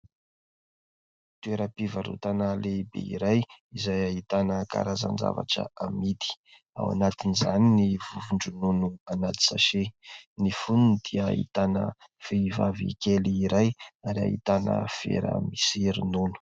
Toeram-pivarotana lehibe iray izay ahitana karazan-javatra amidy, ao anatiny izany ny vovo-dronono anaty "sachet" , ny fonony dia ahitana vehivavy kely iray ary ahitana vera misy ronono.